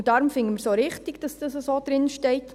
Deshalb finden wir es auch richtig, dass das so drinsteht.